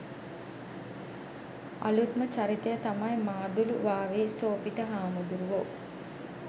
අලූත්ම චරිතය තමයි මාදුළුවාවේ සෝභිත හාමුදුරුවෝ.